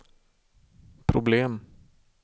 problem